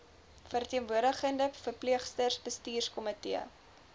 verteenwoordigende verpleegsters bestuurskomitee